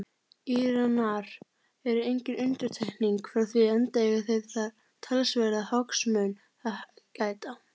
Íranar eru engin undantekning frá því enda eiga þeir þar talsverðra hagsmuna að gæta.